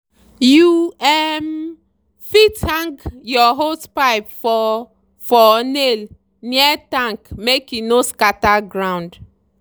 you um fit hang your hosepipe for for nail near tank make e no scatter ground.